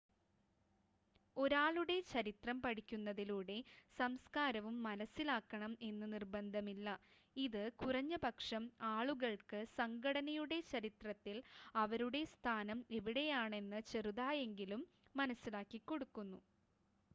ഒരാളുടെ ചരിത്രം പഠിക്കുന്നതിലൂടെ സംസ്‌കാരവും മനസ്സിലാക്കണം എന്ന് നിർബന്ധമില്ല ഇത് കുറഞ്ഞപക്ഷം ആളുകൾക്ക് സംഘടനയുടെ ചരിത്രത്തിൽ അവരുടെ സ്ഥാനം എവിടെയാണെന്ന് ചെറുതായെങ്കിലും മനസ്സിലാക്കിക്കൊടുക്കുന്നു